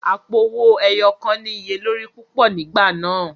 Àpo owó ẹyọ kàn ní iye lórí púpọ̀ nígbà náà.